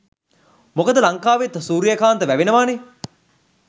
මොකද ලංකාවෙත් සුරියකාන්ත වැවෙනවනේ?